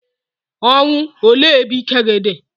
Ọnwụ, olee ebe ike gi di?